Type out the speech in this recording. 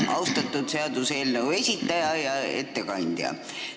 Austatud seaduseelnõu algataja esindaja ja ettekandja!